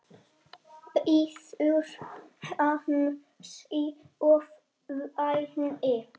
Bíður hans í ofvæni.